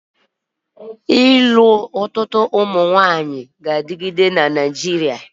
ịlụ karịa otu nwanyị ga-anọgide na-adị na Naijiria